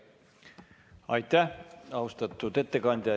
Aitäh, austatud ettekandja!